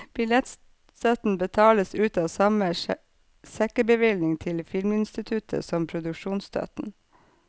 Billettstøtten betales ut av samme sekkebevilgning til filminstituttet som produksjonsstøtten.